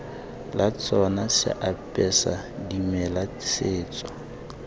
la tsona seapesa dimela setso